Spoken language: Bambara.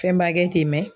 Fɛnba kɛ ten mɛ